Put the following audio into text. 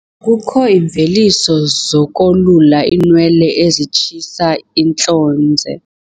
Kukho iimveliso zokolula iinwele ezitshisa intlonze.